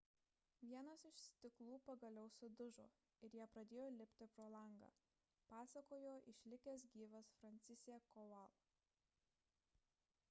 vienas iš stiklų pagaliau sudužo ir jie pradėjo lipti pro langą – pasakojo išlikęs gyvas franciszek kowal